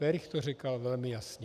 Werich to říkal velmi jasně.